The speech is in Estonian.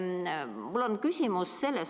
Mul on küsimus.